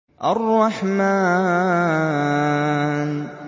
الرَّحْمَٰنُ